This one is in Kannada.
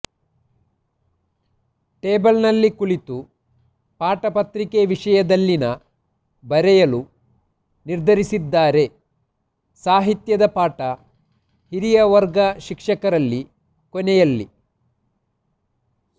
ಟೇಬಲ್ ನಲ್ಲಿ ಕುಳಿತು ಪಾಠ ಪತ್ರಿಕೆ ವಿಷಯದಲ್ಲಿನ ಬರೆಯಲು ನಿರ್ಧರಿಸಿದ್ದಾರೆ ಸಾಹಿತ್ಯದ ಪಾಠ ಹಿರಿಯ ವರ್ಗ ಶಿಕ್ಷಕ ರಲ್ಲಿ ಕೊನೆಯಲ್ಲಿ